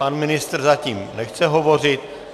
Pan ministr zatím nechce hovořit.